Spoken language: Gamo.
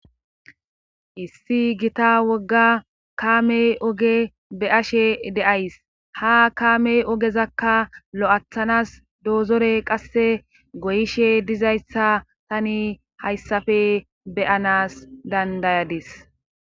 issi gita wogga kaamey oge beashe deays ha kaamey ogezakka lo7athanas doozore qasse goyishe dizayssa tani hayssafe beyanas dandayadis